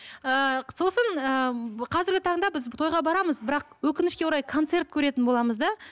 ыыы сосын ы қазіргі таңда біз тойға барамыз бірақ өкінішке орай концерт көретін боламыз да